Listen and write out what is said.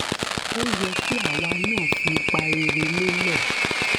ó yẹ kí àwa náà fi ipa rere lélẹ